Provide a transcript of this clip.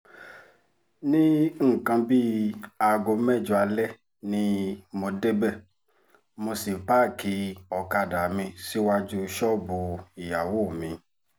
ní nǹkan bíi aago mẹ́jọ alẹ́ ni mo débẹ̀ mọ́ sí páàkì ọ̀kadà mi síwájú ṣọ́ọ̀bù ìyàwó mi